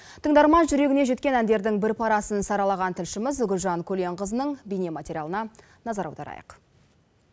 тыңдарман жүрегіне жеткен әндердің бір парасын саралаған тілшіміз гүлжан көленқызының бейнематериалына назар аударайық